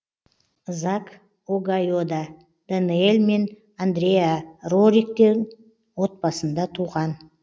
зак огайода даниэль мен андреа рориктің отбасында туған